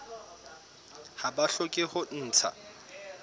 ha ba hloke ho ntsha